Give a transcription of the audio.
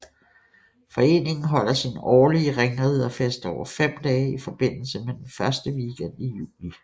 Foreningen holder sin årlige ringriderfest over fem dage i forbindelse med den første weekend i juli